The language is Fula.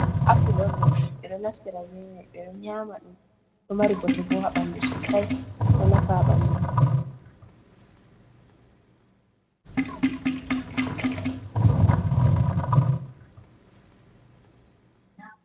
Apul on ɗo, ɓe ɗo naftira be may. Ɓe ɗo nyaama ɗum, ɗo mari bote bo haa ɓanndu sosay ,ɗo nafa a ɓanndu.